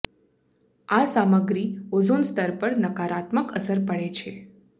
આ સામગ્રી ઓઝોન સ્તર પર નકારાત્મક અસર પડે છે